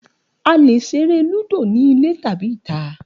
A lè ṣeré Lúdò nínú ilé tàbí ní ìta